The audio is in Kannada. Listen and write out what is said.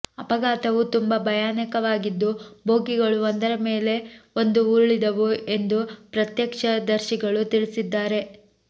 ಅಪಘಾತವು ತುಂಬಾ ಭಯಾನಕವಾಗಿದ್ದು ಬೋಗಿಗಳು ಒಂದರ ಮೇಲೆ ಒಂದು ಉರುಳಿದವು ಎಂದು ಪ್ರತ್ಯಕ್ಷದರ್ಶಿಗಳು ತಿಳಿಸಿದ್ದಾರೆ